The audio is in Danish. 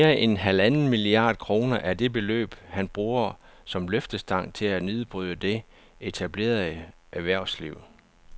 Mere end halvanden milliard kroner er det beløb, han bruger som løftestang til at nedbryde det etablerede erhvervsliv